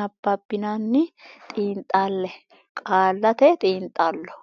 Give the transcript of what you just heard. nabbabbinanni xiinxalle Qaallate Xiinxallo.